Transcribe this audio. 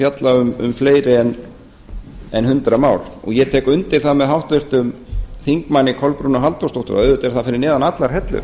fjalla um fleiri en hundrað mál ég tek undir það með háttvirtum þingmanni kolbrúnu halldórsdóttur að auðvitað er það fyrir neðan allar hellur